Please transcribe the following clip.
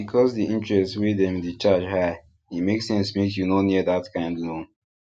because the interest wey dem dey charge high e make sense make you no near that kind loan